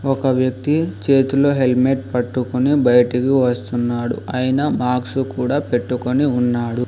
ఒక వ్యక్తి చేతిలో హెల్మెట్ పట్టుకుని బయటికి వస్తున్నాడు. ఐన మాస్క్ కూడా పెట్టుకుని ఉన్నాడు.